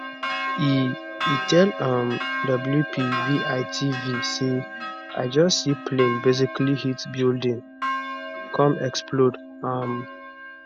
e e tell um wpvitv say i just see plane basically hit building come explode um